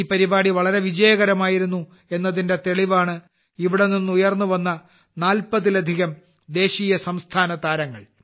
ഈ പരിപാടി വളരെ വിജയകരമായിരുന്നു എന്നതിന്റെ തെളിവാണ് ഇവിടെനിന്ന് ഉയർന്നുവന്ന 40ലധികം ദേശീയസംസ്ഥാന താരങ്ങൾ